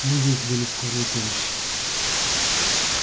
мы вызвали скорую помощь